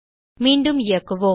மீண்டும் இயக்குவோம்